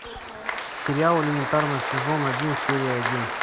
сериал элементарно сезон один серия один